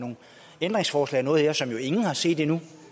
ændringsforslag og noget her som ingen jo har set endnu